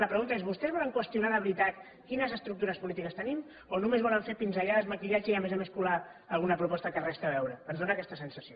la pregunta és vostès volen qüestionar de veritat quines estructures polítiques tenim o només volen fer pinzellades maquillatge i a més a més colar alguna proposta que res hi té a veure ens fa aquesta sensació